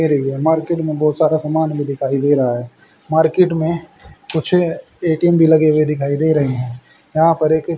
फिर ये मार्केट मे बहोत सारा समान भी दिखाई दे रहा है मार्केट मे कुछ ए_टी_एम भी लगे हुए दिखाई दे रहे है वहां पर एक--